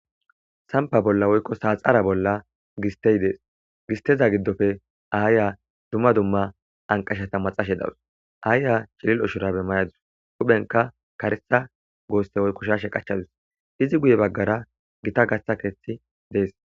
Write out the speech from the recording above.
sampa bolla woykko saaxara bolla gistey dees gisteza giddofe aayya dumma dumma anqashata maxashe dawus aayya chilil oshurabemayadus huphenka karesa goosse woykko shashe qachchadus izi guye baggara gita gaththa keeththi dees